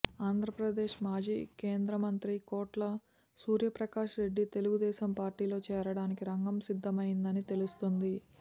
ఆంధ్రప్రదేశ్ మాజీ కేంద్రమంత్రి కోట్ల సూర్యప్రకాశ్ రెడ్డి తెలుగుదేశం పార్టీలో చేరడానికి రంగం సిద్ధమైందని తెలుస్తోంది